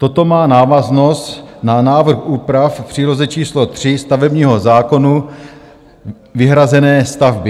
Toto má návaznost na návrh úprav v příloze číslo 3 stavebního zákona, Vyhrazené stavby.